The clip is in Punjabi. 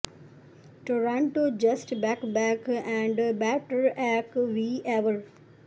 Toronto just back back and better act we ever